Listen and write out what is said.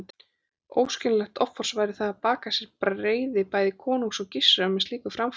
Óskiljanlegt offors væri það að baka sér reiði bæði konungs og Gizurar með slíku framferði.